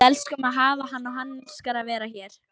Við elskum að hafa hann og hann elskar að vera hér.